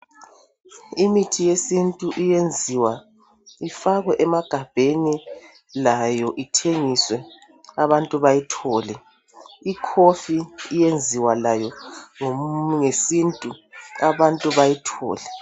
imithi yesintu iyenziwa ifakwe emagabheni layo ithengiswe abantu bayithole i coffee iyenziwa layo ngesintu abantu bayithole